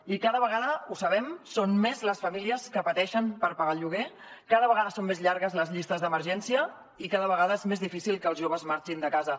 i cada vegada ho sabem són més les famílies que pateixen per pagar el lloguer cada vegada són més llargues les llistes d’emergència i cada vegada és més difícil que els joves marxin de casa